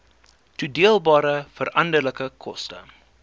toedeelbare veranderlike koste